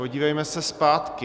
Podívejme se zpátky.